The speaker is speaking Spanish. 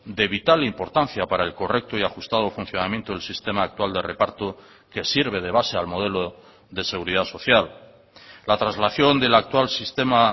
de vital importancia para el correcto y ajustado funcionamiento del sistema actual de reparto que sirve de base al modelo de seguridad social la traslación del actual sistema